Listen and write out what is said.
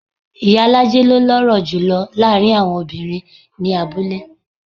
Ìyálájé ló lọ́rọ̀ jùlo láàárín àwọn obìnrin ní abúlé.